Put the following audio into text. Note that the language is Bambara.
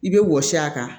I bɛ wɔsi a kan